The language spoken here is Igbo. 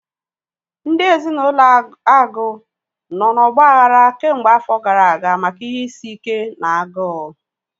Ndị ezinaụlọ Agu nọ na ọgbaghara kemgbe afọ gara aga maka ihe isi ike na agụụ